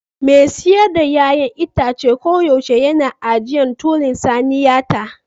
Mai siyar da 'ya'yan itace koyaushe yana ajiye tulin saniyata